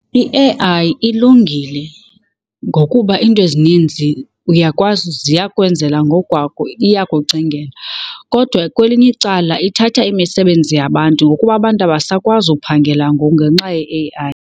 I-A_I ilungile ngokuba iinto ezininzi uyakwazi ziyakwenzela ngokwakho, iyakucingela. Kodwa kwelinye icala ithatha imisebenzi yabantu ngokuba abantu abasakwazi uphangela ngoku ngenxa ye-A_I.